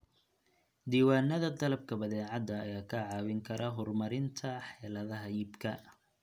Diiwaanada dalabka badeecada ayaa kaa caawin kara horumarinta xeeladaha iibka.